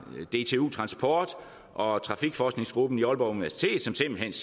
dtu transport og trafikforskningsgruppen på aalborg universitet som simpelt